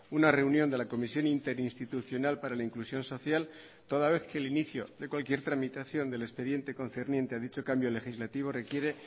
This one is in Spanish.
una reunión de la comisión interinstitucional para la inclusión social toda vez que el inicio de cualquier tramitación del expediente concerniente a dicho cambio legislativo requiere